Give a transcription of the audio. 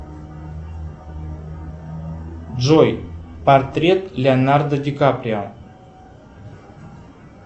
джой портрет леонардо ди каприо